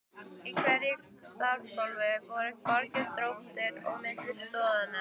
Í hverju stafgólfi voru bogar, dróttir, á milli stoðanna.